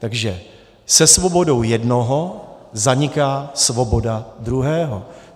Takže se svobodou jednoho zaniká svoboda druhého.